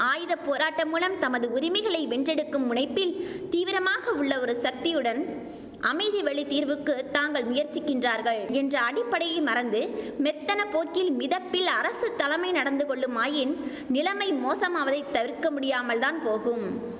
ஆயுத போராட்டம் மூலம் தமது உரிமைகளை வென்றெடுக்கும் முனைப்பில் தீவிரமாக உள்ள ஒரு சக்தியுடன் அமைதி வழி தீர்வுக்கு தாங்கள் முயற்சிக்கின்றார்கள் என்ற அடிப்படையை மறந்து மெத்தன போக்கில் மிதப்பில் அரசுத்தலமை நடந்து கொள்ளுமாயின் நிலமை மோசமாவதைத் தவிர்க்க முடியாமல்தான் போகும்